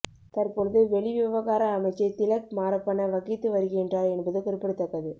தற்பொழுது வெளிவிவகார அமைச்சை திலக் மாரப்பன வகித்து வருகின்றார் என்பது குறிப்பிடத்தக்கது